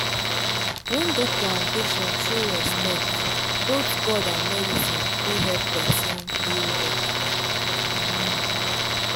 when doctor and patient show respect both god and medicine fit help person heal better.